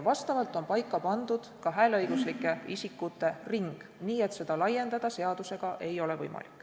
Vastavalt on paika pandud ka hääleõiguslike isikute ring, nii et seda seadusega laiendada ei ole võimalik.